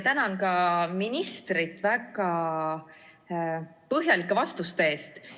Tänan ka ministrit väga põhjalike vastuste eest!